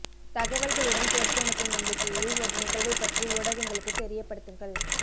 தகவல்களுடன் சேர்த்து அனுப்பும் நம்பிக்கையில் ஒரு நிகழ்வைப் பற்றி ஊடகங்களுக்குத் தெரியப்படுத்துங்கள்